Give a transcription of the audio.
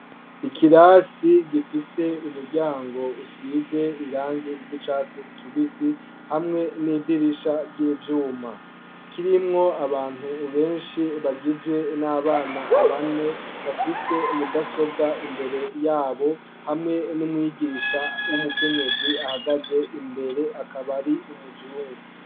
ikirasi gifise umuryango usize irangi ry'icatsi kibisi hamwe n'idirisha ry'ivyuma kirimwo abantu benshi bagizwe n'abana bane bafise mudasobwa imbere yabo hamwe n'umwigisha w'umukenyezi ahagaze imbere akaba ari umuzungu